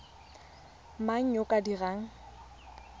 mang yo o ka dirang